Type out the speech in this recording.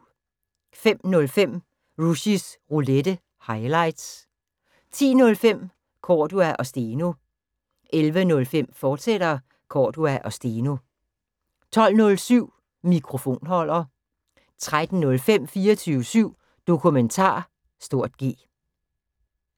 05:05: Rushys Roulette – highlights 10:05: Cordua & Steno 11:05: Cordua & Steno, fortsat 12:07: Mikrofonholder 13:05: 24syv Dokumentar (G)